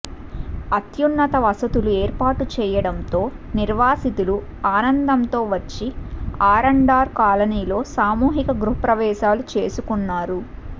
అత్యున్నత వసతులు ఏర్పాటు చేయడంతో నిర్వాసితు లు ఆనందంతో వచ్చి ఆర్అండ్ఆర్ కాలనీలో సామూహిక గృహప్రవేశాలు చేసుకొన్నారు